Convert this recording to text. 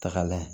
Tagalan ye